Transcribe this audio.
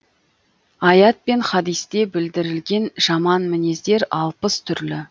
аят пен хадисте білдірілген жаман мінездер алпыс түрлі